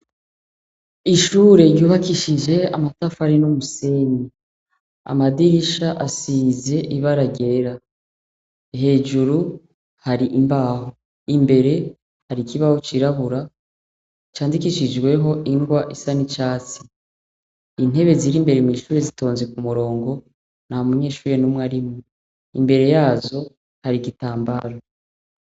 Ishure ryubakishije amatafari n'umusenyi. Amadirisha asize ibara ryera. Hejuru hari imbaho. Imbere hari ikibaho cirabura candikishijweho ingwa isa n'icatsi. Intebe ziri imbere mw'ishure zitonze ku murongo ntamunyeshure n'umwe arimwo. Imbere yazo hari igitambara